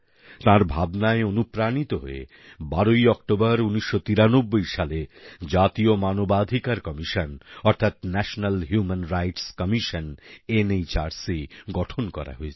তাঁর ভাবনায় অনুপ্রাণিত হয়ে ১২ ই অক্টোবর ১৯৯৩ সালে জাতীয় মানবাধিকার কমিশন অর্থাৎ national human rights commission NHRC গঠন করা হয়েছিল